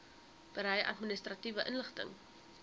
berei administratiewe inligting